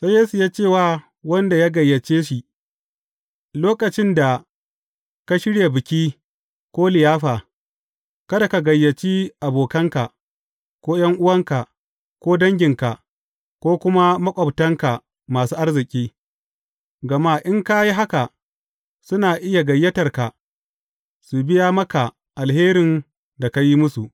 Sai Yesu ya ce wa wanda ya gayyace shi, Lokacin da ka shirya biki ko liyafa, kada ka gayyaci abokanka, ko ’yan’uwanka, ko danginka, ko kuma maƙwabtanka masu arziki, gama in ka yi haka, suna iya gayyatarka, su biya maka alherin da ka yi musu.